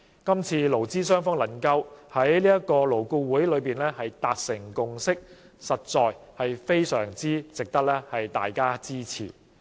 今次勞資雙方能夠在勞顧會達成共識，實在非常值得大家支持。